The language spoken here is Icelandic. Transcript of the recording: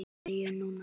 Byrjum núna.